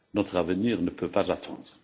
Notre avenir ne peut pas attendre.